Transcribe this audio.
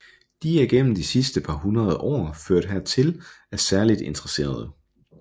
De er gennem de sidste par hundrede år ført hertil af særligt interesserede